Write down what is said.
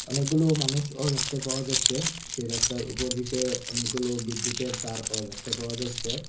অনেকগুলো মানুষও দেখতে পাওয়া যাচ্ছে সেই রাস্তার উপর দিকে অনেকগুলো বিদ্যুতের তারও দেখতে পাওয়া যাচ্ছে।